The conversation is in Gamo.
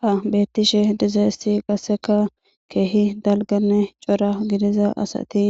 Ha beettishe dizayssi qassekka keehi dalgganne cora gidida asati